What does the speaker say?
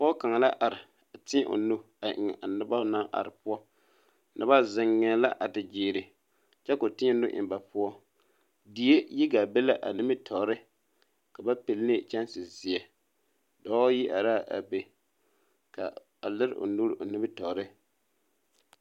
Dɔɔ kaŋa la are a teɛ o nu a kyaare a noba naŋ are poɔ noba zeŋee la a te gyeere kyɛ ka o teɛ nu eŋ ba poɔ die yi gaa be la a nimitɔɔre ka ba puli kyanse zeɛ dɔɔ yi are la a be a lere o nuure nimitɔɔre